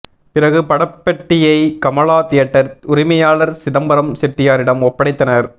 பிறகு படப்பெட்டியை கமலா தியேட்டர் உரிமையாளர் சிதம்பரம் செட்டியாரிடம் ஒப்படைத்தனர்